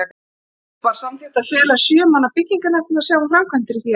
Var samþykkt að fela sjö manna byggingarnefnd að sjá um framkvæmdir í því efni.